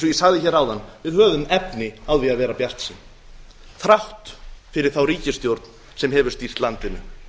ég sagði hér áðan við höfum efni á því að vera bjartsýn þrátt fyrir þá ríkisstjórn sem elur stýrt landinu